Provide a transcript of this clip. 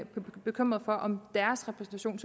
bekymrede for om deres repræsentation